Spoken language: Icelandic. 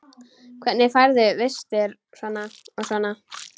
Hvernig færðu vistir og svona?